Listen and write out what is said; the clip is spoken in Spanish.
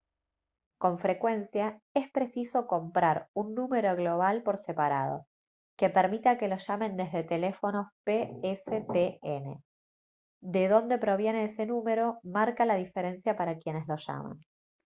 con frecuencia es preciso comprar un número global por separado que permita que lo llamen desde teléfonos pstn de dónde proviene ese número marca la diferencia para quienes lo llaman